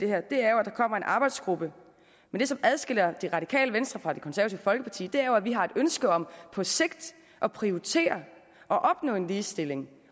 her er at der kommer en arbejdsgruppe men det som adskiller det radikale venstre fra det konservative folkeparti er jo at vi har et ønske om på sigt at prioritere og opnå en ligestilling